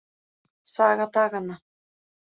Saga daganna.